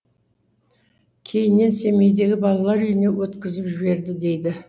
кейіннен семейдегі балалар үйіне өткізіп жіберді дейді